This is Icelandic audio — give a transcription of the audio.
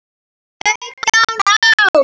Sautján ára.